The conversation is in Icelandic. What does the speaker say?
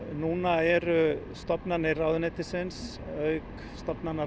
núna eru stofnanir ráðuneytisins auk stofnana